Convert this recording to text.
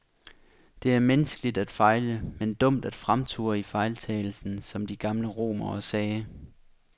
Det er menneskeligt at fejle, men dumt at fremture i fejltagelsen, som de gamle romere sagde.